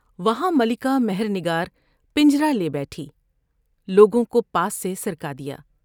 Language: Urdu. وہاں ملکہ مہر نگار پنجرہ لیے بیٹھی ۔لوگوں کو پاس سے سرکا دیا ۔